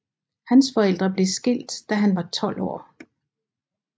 Hans forældre blev skilt da han var 12 år